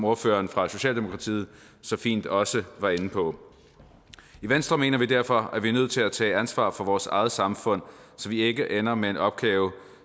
ordføreren fra socialdemokratiet så fint også var inde på i venstre mener vi derfor at vi er nødt til at tage ansvar for vores eget samfund så vi ikke ender med en opgave